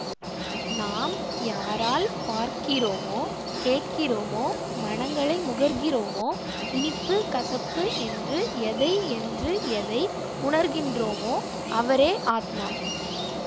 நாம் யாரால் பார்க்கிறோமோ கேட்கிறோமோ மணங்களை முகர்கிறோமோ இனிப்புகசப்பு என்று எதை என்று எதை உணர்கின்றோமோ அவரே ஆத்மா